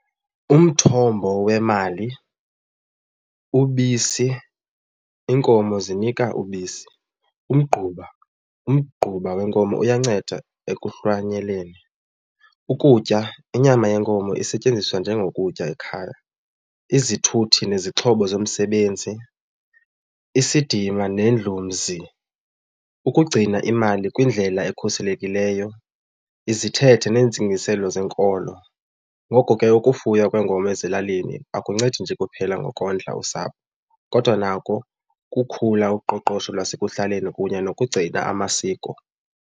Umthombo wemali, ubisi, iinkomo zinika ubisi, umgquba, umgquba wenkomo uyanceda ekuhlwanyeleni, ukutya, inyama yenkomo isetyenziswa njengokutya ekhaya. Izithuthi nezixhobo zomsebenzi, isidima nendlumzi, ukugcina imali kwindlela ekhuselekileyo, izithethe neentsingiselo zenkolo. Ngoko ke ukufuywa kwenkomo ezilalini akuncedi nje kuphela ngokondla usapho kodwa nako kukhula uqoqosho lwasekuhlaleni kunye nokugcina amasiko.